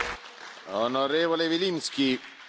Herr Präsident, meine sehr geehrten Damen und Herren!